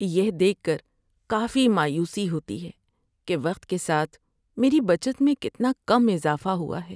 یہ دیکھ کر کافی مایوسی ہوتی ہے کہ وقت کے ساتھ میری بچت میں کتنا کم اضافہ ہوا ہے۔